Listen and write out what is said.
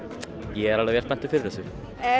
ég er alveg vel spenntur fyrir þessu